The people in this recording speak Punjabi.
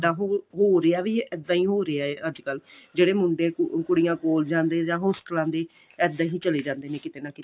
ਇੱਦਾਂ ਹੋ ਰਿਹਾ ਵੀ ਇੱਦਾਂ ਹੋ ਰਿਹਾ ਅੱਜਕਲ ਜਿਹੜੇ ਮੁੰਡੇ ਕੁੜੀਆਂ collage ਜਾਂਦੇ ਜਾ ਹੋਸਟਲਾ ਦੇ ਇੱਦਾਂ ਹੀ ਚਲੇ ਜਾਂਦੇ ਨੇ ਕਿਤੇ ਨਾ ਕਿਤੇ